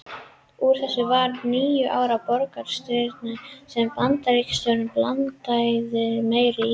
Úr þessu varð níu ára borgarastyrjöld sem Bandaríkjastjórn blandaðist æ meir í.